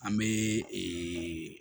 An bɛ ee